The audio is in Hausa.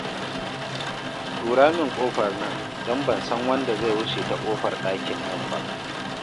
Tura min ƙofar nan don ban san wanda zai wuce ta ƙofar ɗakin nan ba